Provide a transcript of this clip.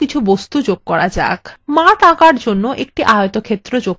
মাঠ আঁকার জন্য একটি আয়তক্ষেত্র যোগ করা যাক